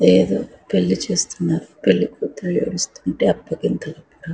ఏదో పెళ్లి చేస్తున్నారు పెళ్లి కూతురు వస్తుంటే --